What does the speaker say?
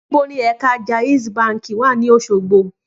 Níbo ni ẹ̀ka Jaiz báǹkì wà ní Òṣogbo?